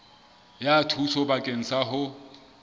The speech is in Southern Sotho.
ya thuso bakeng sa ho